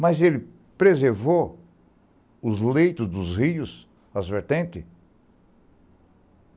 Mas ele preservou os leitos dos rios, as vertentes?